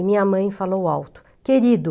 E minha mãe falou alto, querido!